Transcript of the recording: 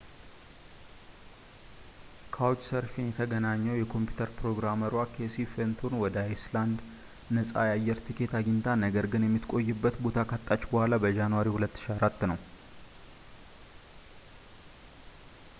ካውችሰርፊን የተገነኘው የኮምፒውተር ፕሮግራመሯ ኬሲ ፈንቶን ወደ አይስላንድ ነፃ የአየር ቲኬት አግኝታ ነገር ግን የምትቆይበት ቦታ ካጣች ቡኃላ በጃንዋሪ 2004 ነው